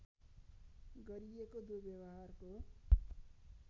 गरिएको दुर्व्यवहारको